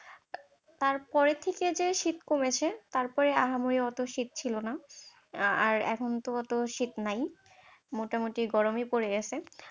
তারপরের থেকে যে শীত কমেছে, তারপরে আহামরি ওতো শীত ছিল না, আর এখন তো ওতো শীত নাই, মোটামুটি গরমই পড়ে গেছে।